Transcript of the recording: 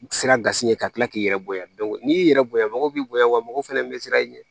Siran gasi ɲɛ ka kila k'i yɛrɛ bonya n'i y'i yɛrɛ bonya mɔgɔw b'i bonya wa mɔgɔ fɛnɛ bɛ siran i ɲɛ